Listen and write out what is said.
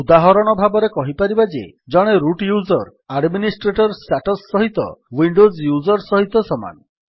ଉଦାହରଣ ଭାବରେ କହିପାରିବା ଯେ ଜଣେ ରୁଟ୍ ୟୁଜର୍ ଆଡମିନିଷ୍ଟ୍ରେଟର୍ ଷ୍ଟାଟସ୍ ସହିତ ୱିଣ୍ଡୋଜ୍ ୟୁଜର୍ ସହିତ ସମାନ